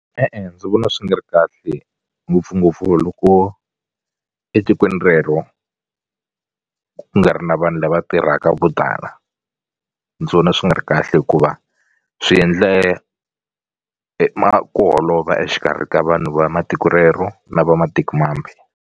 E-e ndzi vona swi nga ri kahle ngopfungopfu loko etikweni rero ku nga ri na vanhu lava tirhaka vo tala ndzi vona swi nga ri kahle hikuva swi endle ma ku holova exikarhi ka vanhu va matiko rero na va matikomambe.